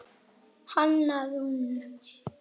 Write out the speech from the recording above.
Hanna Rún.